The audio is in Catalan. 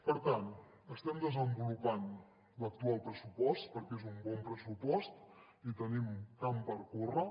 per tant estem desenvolupant l’actual pressupost perquè és un bon pressupost i tenim camp per córrer